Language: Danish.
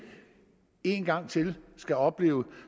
en gang til skal opleve